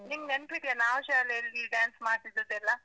ನಿಂಗ್ ನೆನ್ಪಿದ್ಯಾ, ನಾವ್ ಶಾಲೆಲ್ಲಿ dance ಮಾಡಿದ್ದದೆಲ್ಲ?